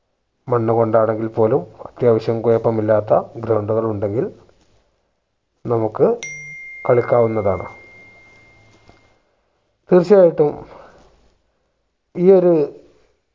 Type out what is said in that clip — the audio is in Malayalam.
മണ്ണുകൊണ്ട് ആണെങ്കിൽ പോലും അത്യാവശ്യം കൊയപ്പമില്ലാത്ത ground കൾ ഉണ്ടെങ്കിൽ നമുക്ക് കളിക്കാവുന്നതാണ് തീർച്ച ആയിട്ടും ഈ ഒരു